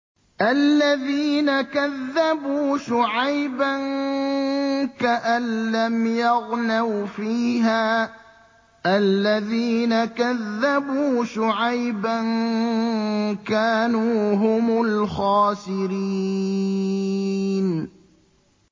الَّذِينَ كَذَّبُوا شُعَيْبًا كَأَن لَّمْ يَغْنَوْا فِيهَا ۚ الَّذِينَ كَذَّبُوا شُعَيْبًا كَانُوا هُمُ الْخَاسِرِينَ